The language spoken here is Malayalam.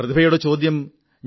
ഫോൺ കോളിന് വളരെ വളരെ നന്ദി